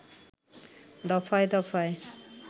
দফায় দফায়